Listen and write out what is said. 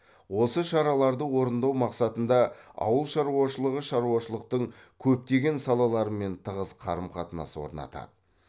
осы шараларды орындау мақсатында ауыл шаруашылығы шаруашылықтың көптеген салаларымен тығыз қарым қатынас орнатады